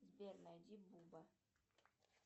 сбер найди буба